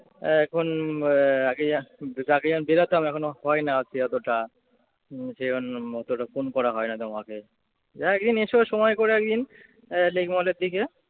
এখন আহ আগে যা আগে যেমন বেরুতাম এখন ও হয় না আরকি অতটা। যেই জন্য অতটা ফোন করা হয় না তোমাকে। তা একদিন এসো সময় করে একদিন আহ লেকমলের দিকে